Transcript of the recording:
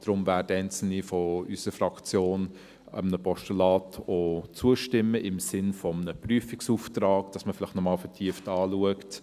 Deshalb werden einzelne Mitglieder unserer Fraktion einem Postulat auch zustimmen, im Sinn eines Prüfungsauftrags, dass man vielleicht noch einmal vertieft anschaut: